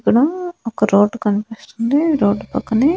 అక్కడ ఒక రోడ్ కనిపిస్తుంది రోడ్ పక్కనే.